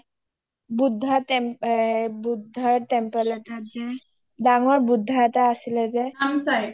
buddha temple এটাত যে ডাঙৰ buddha এটা আছিলে যে